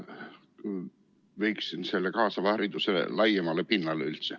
Ma viiksin selle kaasava hariduse üldse laiemale pinnale.